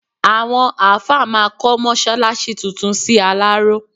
Àwọn àáfà máa kọ́ mọ́ṣáláṣí tuntun sí Aláró.